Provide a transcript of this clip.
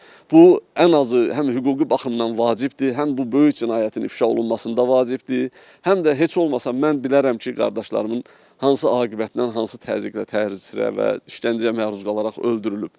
Bu ən azı həm hüquqi baxımdan vacibdir, həm bu böyük cinayətin ifşa olunmasında vacibdir, həm də heç olmasa mən bilərəm ki, qardaşlarımın hansı aqibətlə, hansı təzyiqlə, təhrikə və işgəncəyə məruz qalaraq öldürülüb.